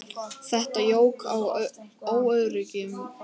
Þetta jók á óöryggi mitt.